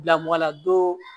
Bila mɔgɔ la don